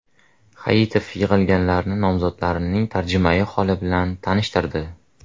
Hayitov yig‘ilganlarni nomzodning tarjimai holi bilan tanishtirdi.